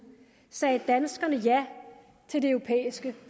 sagde danskerne ja til det europæiske